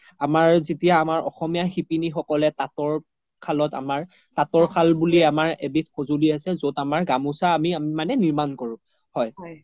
আমাৰ যেতিয়া আমাৰ অসমীয়া সিপিনি সকলে তাতৰ খালত আমাৰ তাতৰ খাল বুলি এবিধ সজোলি আছে য্'ত আমাৰ গামুচা আমি মানে নিৰ্মান কৰো হয়